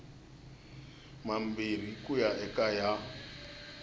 mambirhi ku ya eka ya